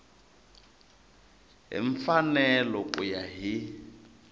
hi mfanelo ku ya hi